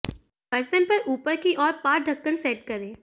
बर्तन पर ऊपर की ओर पॉट ढक्कन सेट करें